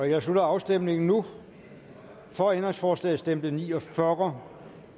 jeg slutter afstemningen nu for ændringsforslaget stemte ni og fyrre